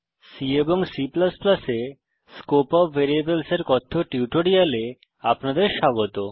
C এবং C এ scope of ভ্যারিয়েবলসের কথ্য টিউটোরিয়ালে আপনাদের স্বাগত